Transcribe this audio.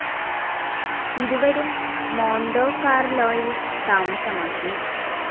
ഇരുവരും മോണ്ടോ കാർലോയിൽ താമസമാക്കി.